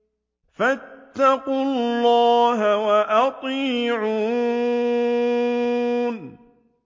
فَاتَّقُوا اللَّهَ وَأَطِيعُونِ